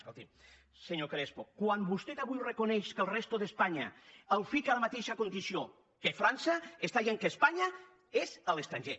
escolti’m senyor crespo quan vostè avui reconeix que la resta d’espanya la fica en la mateixa condició que frança està dient que espanya és a l’estranger